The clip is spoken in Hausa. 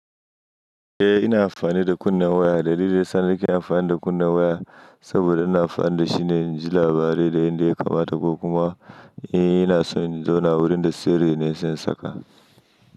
Eh ina amfani da kunnen waya, dalilin sa ne kin amfani da kunne waya saboda ina amfani da shi ne in ji labarai da inda ya kamata ko kuma in ina so in zauna wurin da sirri ne se in saka.